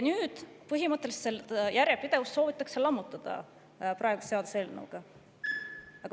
Nüüd, praeguse seaduseelnõuga aga põhimõtteliselt soovitakse seda järjepidevust lammutada.